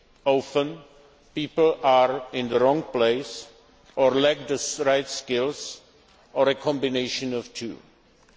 States. Often, people are in the wrong place, or lack the right skills, or a combination of